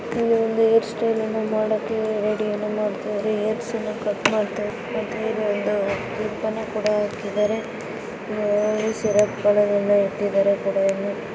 ಇದು ಒಂದು ಏರ್ ಸ್ಟೈಲನ್ನು ಮಾಡಕ್ಕೆ ರಡಿಯನ್ನು ಮಾಡ್ತಾಯಿದರೆ ಏರ್ಸ್ ಅನ್ನ ಕಟ್ ಮಾಡ್ತಾಯಿದರೆ ಮತ್ತೆ ಇಲ್ಲಿ ಒಂದು ಕ್ಲಿಪ್ಪನ್ನ ಕೂಡ ಆಕಿದರೆ. ಯ್ಯಾವದು ಸಿರಪ್ಗಳನ್ನೆಲ್ಲ ಇಟ್ಟಿದರೆ ಕೂಡ ಇಲ್ಲಿ.